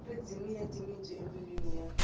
ri dzimile timitsu embilwini ya